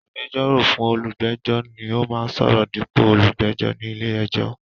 Agbẹjọ́rò fún olùgbẹ́jọ́ ni ó máa ń sọ̀rọ̀ dípò olùgbẹ́jọ ní ilé-ẹjọ́.